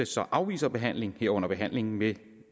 så afviser behandlingen herunder behandlingen med